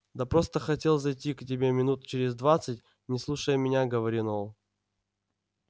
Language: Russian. да просто хотел зайти к тебе минут через двадцать не слушая меня говорил ол